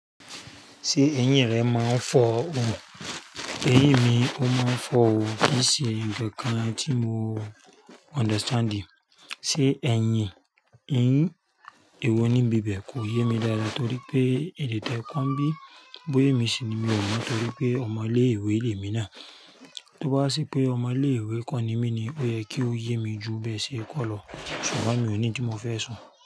Ṣé ẹ̀yìn rẹ máa ń fọ ọ? Ẹ̀yìn mi ó máa ń fọ òó, kì í ṣe ǹkankan tí mo understanding. Ṣé ẹ̀yìn ì wo níbi bẹ́ẹ̀ kò yé mi dáadáa torí pé ede téè ko n bí bóyè emi síi ni mi ò mọ torí pé ọmọ ilé ìwé lé mi náà. Tó bá ṣé pé ọmọ ilé ìwé ko ni mí ni ó yẹ kí ó yé mi ju bẹ́ẹ̀ sí kọ́ lọ, ṣùgbọ́n mi ò ní tí mo fẹ́ so.